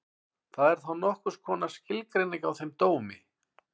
Það er þá nokkurs konar skilgreining á þeim dómi.